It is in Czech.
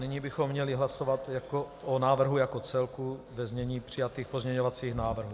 Nyní bychom měli hlasovat o návrhu jako celku ve znění přijatých pozměňovacích návrhů.